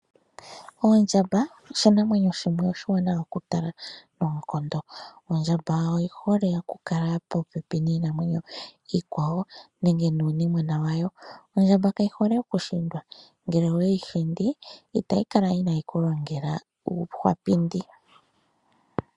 Oondjamba oshinmwenyo shimwe oshiwaanawa oku tala noonkondo. Ondhamaba oyihole okukala po pepi nii namwenyo yikwawo nenge nuu nimwena yawo. Ondjamba kayi hole okushindwa ngele oweyi hindi otayi kala inaku lingela uukwapindi.